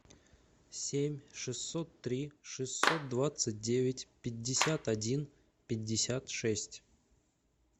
семь шестьсот три шестьсот двадцать девять пятьдесят один пятьдесят шесть